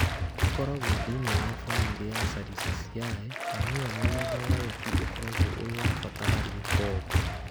Ĩkoragwo thĩinĩ wa famĩlĩ ya caricaceae na nĩyo mũthemba wayo tu ũkoragwo ũrĩ wa bata harĩ ũtonga.